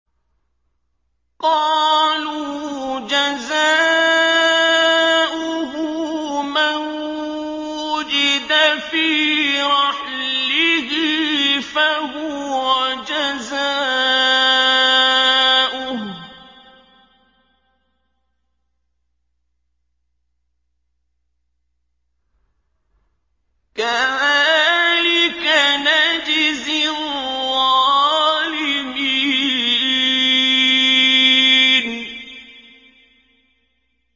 قَالُوا جَزَاؤُهُ مَن وُجِدَ فِي رَحْلِهِ فَهُوَ جَزَاؤُهُ ۚ كَذَٰلِكَ نَجْزِي الظَّالِمِينَ